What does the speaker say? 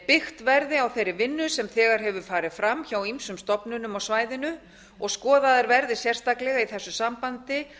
byggt verði á þeirri vinnu sem þegar hefur farið fram á ýmsum stofnunum á svæðinu og skoðaðir verði sérstaklega í þessu sambandi